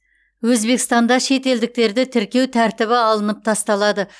өзбекстанда шетелдіктерді тіркеу тәртібі алынып тасталады